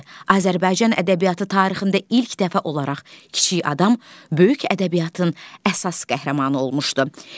Azərbaycan ədəbiyyatı tarixində ilk dəfə olaraq kiçik adam böyük ədəbiyyatın əsas qəhrəmanı olmuşdu.